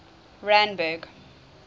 randburg